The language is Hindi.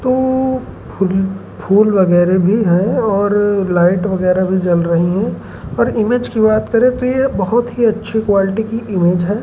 तो फ़ुल्‌ फूल वगैरह भी है और लाइट वगैरह भी जल रही है और इमेज की याद करें तो ये बहुत अच्छी क्वालिटी की इमेज है।